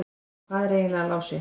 En hvar er eiginlega Lási?